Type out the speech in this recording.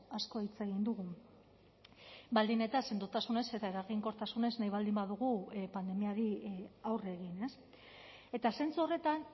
asko hitz egin dugu baldin eta sendotasunez eta eraginkortasunez nahi baldin badugu pandemiari aurre egin eta zentzu horretan